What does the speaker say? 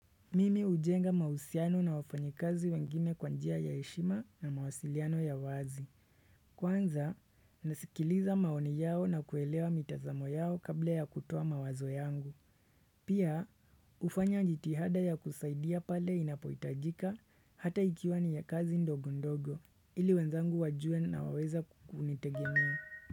Mimi hujenga mahusiano na wafanyikazi wengine kwa njia ya heshima na mawasiliano ya wazi. Kwanza, nasikiliza maoni yao na kuelewa mitazamo yao kabla ya kutoa mawazo yangu. Pia, hufanya jitihada ya kusaidia pale inapoitajika hata ikiwani ya kazi ndogo ndogo, ili wenzangu wajuwe nawaweza kunitegemea.